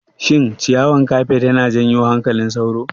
Shin ciyawan kafet yana janyo hankalin sauro?